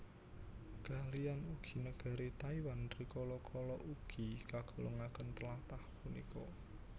Kaliyan ugi negari Taiwan rikala kala ugi kagolongaken tlatah punika